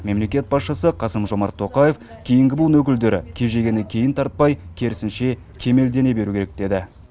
мемлекет басшысы қасым жомарт тоқаев кейінгі буын өкілдері кежегені кейін тартпай керісінше кемелдене беру керек деді